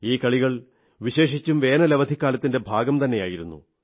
ഈ കളികൾ വിശേഷിച്ചും വേനവലധിക്കാലത്തിന്റെ ഭാഗംതന്നെയായിരുന്നു